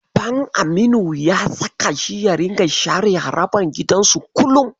Baban Aminu ya saka shi ya ringa share harabar gidansu kullum.